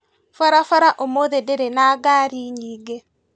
Barabara ũmũthĩ ndĩrĩ na ngari nyingĩ